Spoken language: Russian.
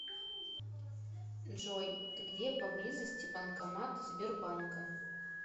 джой где поблизости банкомат сбербанка